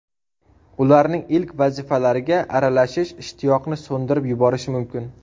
Ularning ilk vazifalariga aralashish ishtiyoqni so‘ndirib yuborishi mumkin.